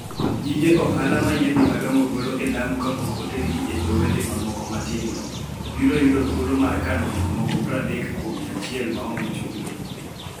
Gige ohala ma yiedhi madongo golo e Lamu kapok otergi e dho wedhe mamoko matindo, biro yudo thuolo mar kano gik moko 30 kuom 100 maonge chudo.